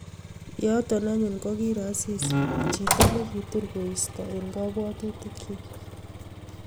Yoto anyun kokiiro Asisi, chito ne kitur koisto eng kabwatutikchi